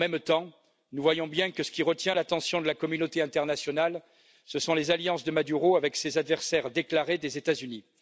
En même temps, nous voyons bien que ce qui retient l'attention de la communauté internationale, ce sont les alliances de Maduro avec ses adversaires déclarés des États Unis.